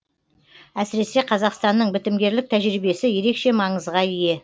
әсіресе қазақстанның бітімгерлік тәжірибесі ерекше маңызға ие